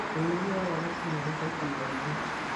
Ũrĩithia wa thamaki nĩ ũrĩ baita nyingĩ.